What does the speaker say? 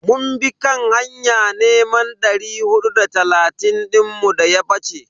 Mun bi kan hanya neman dari hudu da talatin dinmu daya bace.